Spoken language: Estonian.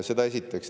Seda esiteks.